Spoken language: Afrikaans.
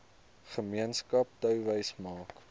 gemeenskap touwys maak